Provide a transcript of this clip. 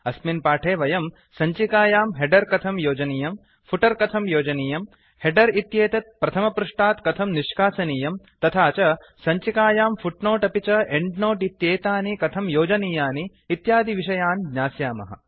अस्मिन् पाठे वयम् सञ्चिकायां हेडर कथं योजनीयम् फूटर कथं योजनीयम् हेडर इत्येतत् प्रथमपृष्टात् कथं निष्कासनीयम् तथा च सञ्चिकायां फुट्नोट अपि च एंड नोट इत्येतानि कथं योजनीयानि इत्यादिविषयान् ज्ञास्यामः